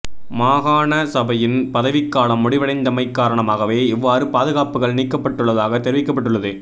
மாகாண சபையின் பதவிக்காலம் முடிவடைந்தமை காரணமாகவே இவ்வாறு பாதுகாப்புக்கள் நீக்கப்பட்டுள்ளதாக தெரிவிக்கப்பட்டுள்ளது